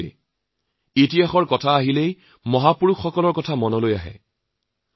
আমি যেতিয়া ইতিহাসৰ কথা কওঁ তেতিয়া মহাপুৰুষসকলৰ কথা মনলৈ অহাটো স্বাভাৱিক